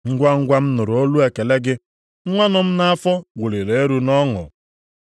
Ngwangwa m nụrụ olu ekele gị, nwa nọ m nʼafọ wuliri elu nʼọṅụ.